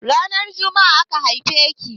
Ranar jumma'a aka haife ki?